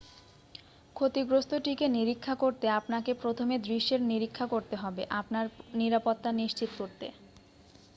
ক্ষতিগ্রস্থটিকে নিরীক্ষা করতে আপনাকে প্রথমে দৃশ্যের নিরীক্ষা করতে হবে আপনার নিরাপত্তা নিশ্চিত করতে